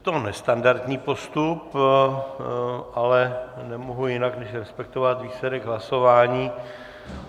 Je to nestandardní postup, ale nemohu jinak, než respektovat výsledek hlasování.